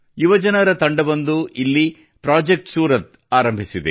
ಯುವಜನರ ತಂಡವೊಂದು ಇಲ್ಲಿ ಪ್ರಾಜೆಕ್ಟ್ ಸೂರತ್ ಆರಂಭಿಸಿದೆ